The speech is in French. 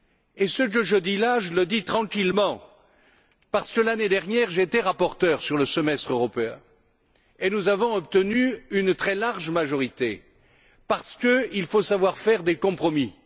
Et ce que je dis là, je le dis tranquillement, parce que l'année dernière j'ai été rapporteur sur le semestre européen. Et nous avions obtenu une très large majorité, parce qu'il faut savoir faire des compromis.